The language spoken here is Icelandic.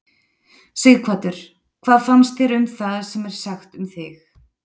Sighvatur: Hvað fannst þér um það sem er sagt um þig?